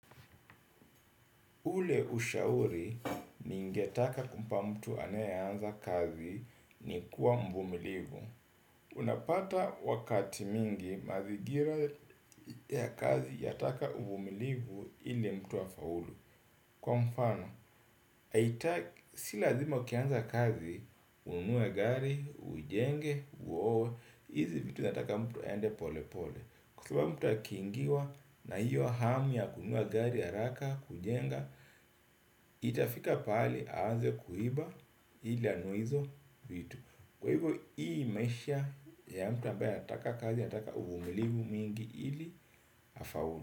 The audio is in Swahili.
Ule ushauri ningetaka kumpa mtu anayeanza kazi ni kuwa mvumilivu. Unapata wakati mwingi mazingira ya kazi yataka uvumilivu ili mtu afaulu. Kwa mfano, si lazima ukianza kazi ununue gari, ujenge, uoe, hizi vitu zinataka mtu aende pole pole. Kukiwa mtu akiingiwa na hiyo hamu ya kununua gari ya haraka, kujenga itafika pahali aanze kuiba ili anunue hizo vitu. Kwa hivyo hii maisha ni ya mtu ambaye anataka kazi, anataka uvumilivu mwingi ili afaulu.